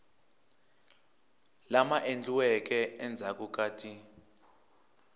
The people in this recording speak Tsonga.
lama endliweke endzhaku ka ti